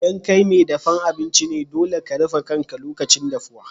ldan kai mai dafan abinci ne, dolle ka rufe kan ka lokacin dafuwa.